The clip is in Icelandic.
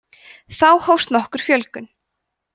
þá hófst nokkur fjölgun